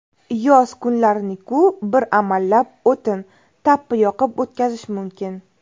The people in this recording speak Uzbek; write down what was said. Yoz kunlariniku bir amallab, o‘tin, tappi yoqib o‘tkazish mumkin.